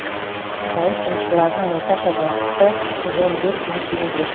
зауыт жұмысшыларының орташа жалақысы жүз он бес мың теңге